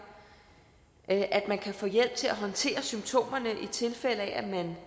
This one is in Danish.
at man kan få hjælp til at håndtere symptomerne i tilfælde af at man